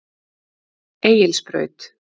Egilsbraut